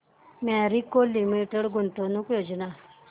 Marico limited गुंतवणूक योजना दाखव